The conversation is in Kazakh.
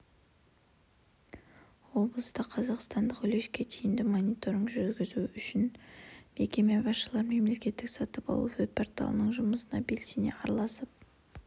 облыста қазақстандық үлеске тиімді мониторинг жүргізу үшін мекеме басшылары мемлекеттік сатып алу веб-порталының жұмысына белсене араласып